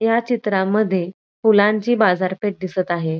या चित्रामध्ये फुलांची बाजारपेठ दिसत आहे.